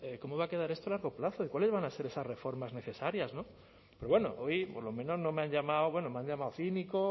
cómo va a quedar esto a largo plazo y cuáles van a hacer esas reformas necesarias pero bueno hoy por lo menos no me han llamado bueno me han llamado cínico